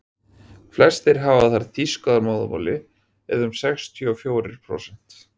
flestir hafa þar þýsku að móðurmáli eða um sextíu og fjórir prósent